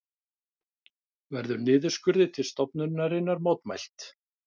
Verður niðurskurði til stofnunarinnar mótmælt